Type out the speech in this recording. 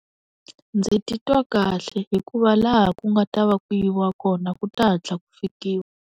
Ndzi titwa kahle hikuva laha ku nga ta va ku yiwa kona ku ta hatla ku fikiwa.